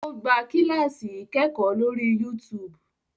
O gbà kilasi ikẹkọ lórí youtube